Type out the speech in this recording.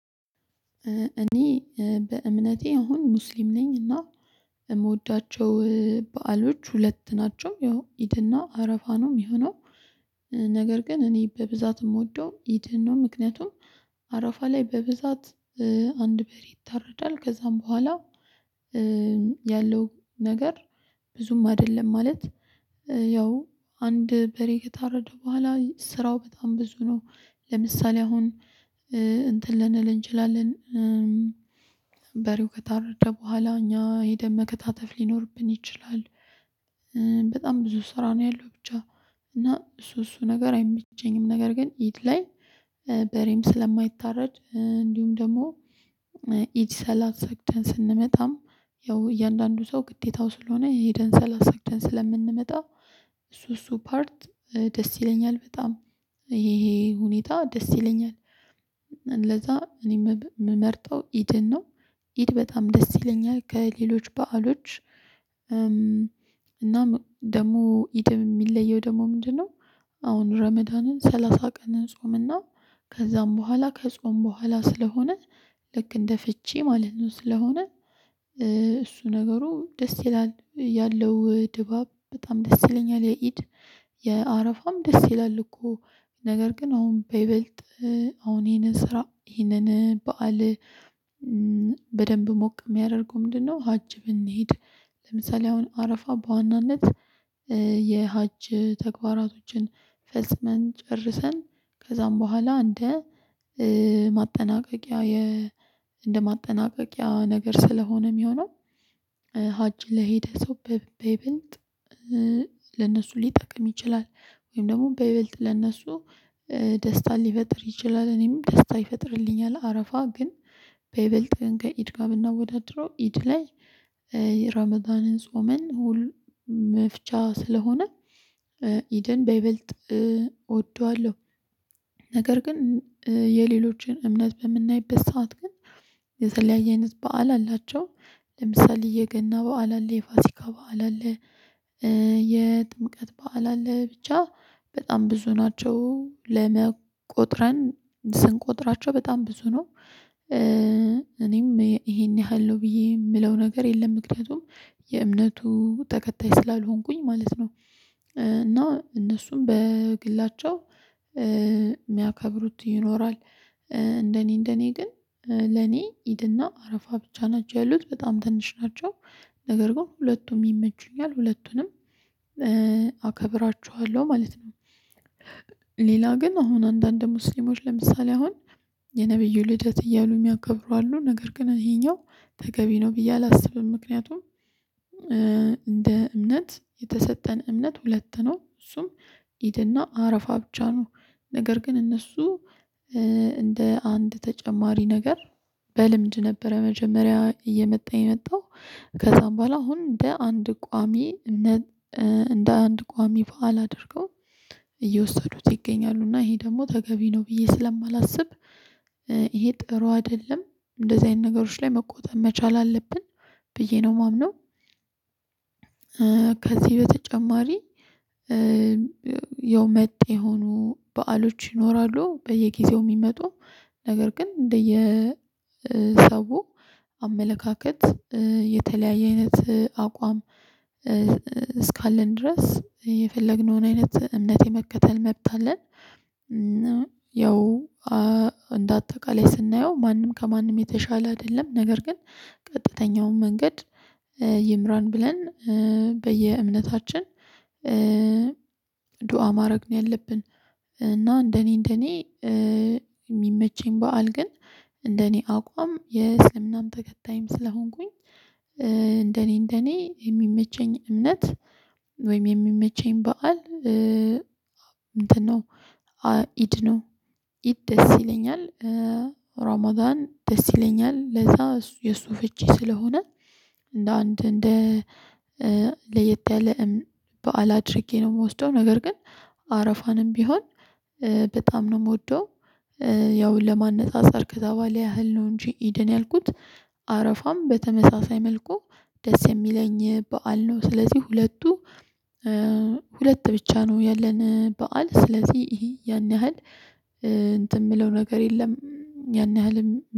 እኔ በእምነቴ አሁን ሙስሊም ነኝ። እና የምወዳቸው በዓሎች ሁለት ናቸው። ያው ኢድና አረፋ ነው የሚሆነው ነገር ግን እኔ በብዛት የምወደው ኢድን ነው። ምክንያቱም አራፋ ላይ በብዛት አንድ በሬ ይታረዳል ከዛም በኋላ ያለው ነገር ብዙም አይደለም ማለት ያው አንድ በሬ ከታረደ በኋላ ስራው በጣም ብዙ ነው። ለምሳሌ አሁን እንትን ልንል እንችላለን በሬው ከታረጀ በኋላ እኛ ሄደን መከታተፍ ሊኖርብን ይችላል። በጣም ብዙ ስራ ነው። ያለው ብቻ እና እሱ እሱ ነገር አይመቸኝም። ነገር ግን ኢት ላይ በሬም ስለማይታረድ እንዲሁም ደግሞ ኢድ ሰላሳ ሰግተን ስንመጣም ያው እያንዳንዱ ሰው ግዴታው ስለሆነ የኢድን ሰላሳ ሰግደን ስለምንመጣ እሱ እሱ ፓርት ደስ ይለኛል። በጣም ይሄ ሁኔታ ደስ ይለኛል። ለዛ እኔ የምመርጠው ኢድን ነው። ኢድ በጣም ደስ ይለኛል ከሌሎች በዓሎች እና ደግሞ ኢትም የሚለየው ደግሞ ምንድነው? አሁን ረመዳንን ሰላሳ ቀን ጾምና ከዛም በኋላ ከጾም በኋላ ስለሆነ ልክ እንደ ፍቺ ማለት ነው ስለሆነ እሱ ነገሩ ደስ ይላል ያለው ድባብ በጣም ደስ ይለኛል። የኢድ የአረፋም ደስ ይላል እኮ ነገር ግን አሁን በይበልጥ አሁን ይሄንን ስራ ይሄንን በዓል በደንብ ሞቅ የሚያደርገው ምንድነው? ሀብ ብንሄድ ለምሳሌ አሁን አረፋ በዋናነት የሀጅ ተግባራቶችን ፈጽመን ጨርሰን ከዛም በኋላ እንደ ማጠናቀቂያ እንደ ማጠናቀቂያ ነገር ስለሆነ ይሆናል። ሀጭ ለሄደ ሰው በይበልጥ ለነሱ ሊጠቅም ይችላል ወይም ደግሞ በይበልጥ ለእነሱ ደስታን ሊፈጥር ይችላል። እኔም ደስታ ይፈጥርልኛል አረፋ ግን በይልጥ ከኢድ ጋር ብናወዳድረው ኢድ ላይ የራመጣንን ጾመን ሁል መፍቻ ስለሆነ ኢደን በይበልጥ እወደዋለሁ። ነገር ግን የሌሎችን እምነት በምናይበት ሰዓት ግን የተለያየ አይነት በዓል አላቸው። ለምሳሌ የገና በዓል አለ የፋሲካ በዓል አለ። የጥምቀት በዓል አለ ብቻ በጣም ብዙ ናቸው ለመ ቆጥረን ስንቆጥራቸው በጣም ብዙ ነው። እኔም ይሄን ያህል ነው ብዬ የምለው ነገር የለም ምክንያቱም የእምነቱ ተከታይ ስላልሆንኩኝ ማለት ነው። እና እነሱም በግላቸው የሚያከብሩት ይኖራል እንደኔ እንደኔ ግን ለኔ ኢድና አረፋ ብቻ ናቸው። ያሉት በጣም ትንሽ ናቸው ነገር ግን ሁለቱም ይመቹኛል ሁለቱንም አከብራቸዋለሁ ማለት ነው። ሌላ ግን አሁን አንዳንድ ሙስሊሞች ለምሳሌ አሁን የነብዩ ልደት እያሉ የሚያከብሩ አሉ ነገር ግን ይሄኛው ተገቢ ነው ብዬ አላስብም። ምክንያቱም እንደ እምነት የተሰጠን እምነት ሁለት ነው እሱም ኢድና አረፋ ብቻ ነው። ነገር ግን እነሱ እንደ አንድ ተጨማሪ ነገር በልምድ ነበረ መጀመሪያ እየመጣ የመጣው ከዛ በኋላ አሁን እንደ አንድ ቋሚ እንደ አንድ ቋሚ በዓል አድርገው እየወሰዱት ይገኛሉ። እና ይሄ ደግሞ ተገቢ ነው ብዬ ስለማላስብ ይሄ ጥሩ አይደለም። እንደዚህ አይነት ነገሮች ላይ መቆጣጠር መቻል አለብን ብዬ ነው የማምነው። ከዚህ በተጨማሪ ያው መጤ የሆኑ በዓሎች ይኖራሉ በየጊዜው የሚመጡ ነገር ግን እንደየ ሰው አመለካከት የተለያየ አይነት አቋም እስካለን ድረስ የፈለግነውን አይነት እምነት የመከተል መብት አለን። ያው እንደ አጠቃላይ ስናየው ማንም ከማንም የተሻለ አይደለም ነገር ግን ቀጥተኛውን መንገድ ይምራን ብለን በየእምነታችን ዱአ ማድረግ ነው ያለብን። እና እንደኔ እንደኔ የሚመቸኝ በዓል ግን እንደኔ አቋም የእስልምናም ተከታይም ስለሆንኩኝ እንደኔ የሚመቸኝ እምነት ወይም የሚመቸኝ በዓል እንትን ነው። ኢድ ነው ኢድ ደስ ይለኛል። ራመዳን ደስ ይለኛል ለዛ እሱ የሱ ፈቼ ስለሆነ እንደ አንድ እንደ ለየት ያለ በዓል አድርጌ ነው የምወደው ነገር ግን አረፋንም ቢሆን በጣም ነው የምወደው። ያው ለማነጻጸር ከዛ በኋላ ያህል ነው እንጂ ኢደን ያልኩት አረፋም በተመሳሳይ መልኩ ደስ የሚለኝ በዓል ነው። ስለዚህ ሁለቱ ሁለት ብቻ ነው ያለን በዓል ስለዚህ ያን ያህል እንትን የምለው ነገር የለም። ያን ያህልም